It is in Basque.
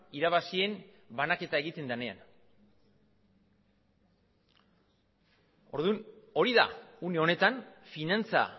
irabazien banaketa egiten denean orduan hori da une honetan finantza